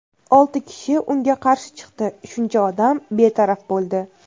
Olti kishi unga qarshi chiqdi, shuncha odam betaraf bo‘ldi.